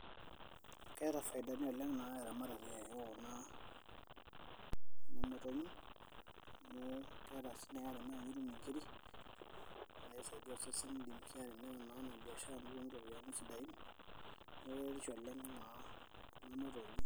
keeta faidani oleng naa eramatare oo kuna motonyi amu keeta indim sii naaji atimira nitum inkiri naa kisaidia osesen indim sii atimira naa ena biashara nitum iropiyiani sidain neeku keretisho oleng naa kuna motonyi.